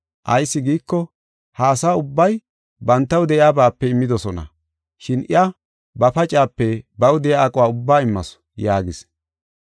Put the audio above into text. Ayis giiko, ha asa ubbay bantaw de7iyabaape immidosona, shin iya ba pacaape, baw de7iya aquwa ubbaa immasu” yaagis.